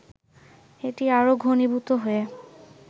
এটি আরো ঘনীভূত হয়ে